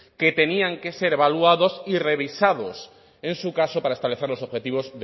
que tenían que ser evaluados y revisados en su caso para establecer los objetivos